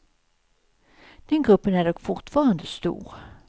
Den gruppen är dock fortfarande stor.